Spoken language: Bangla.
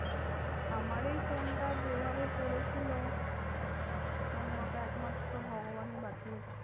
আমার এই ফোনটা যেভাবে পড়েছিল, মানে ওটা একমাত্র ভগবানই বাঁচিয়েছে।